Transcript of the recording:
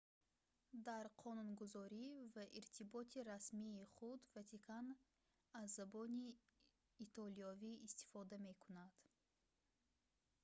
дар қонунгузорӣ ва иртиботи расмии худ ватикан аз забони итолиёвӣ истифода мекунад